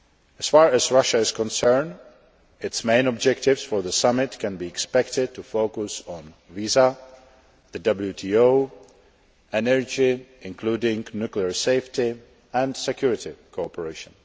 As far as Russia is concerned, its main objectives for the summit can be expected to focus on visas, the WTO, energy including nuclear safety and security cooperation.